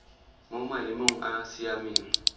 mo maemong a a siameng